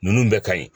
Ninnu bɛɛ ka ɲi